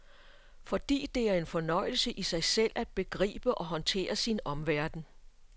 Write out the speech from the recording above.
Fordi det er en fornøjelse i sig selv at begribe og håndtere sin omverden.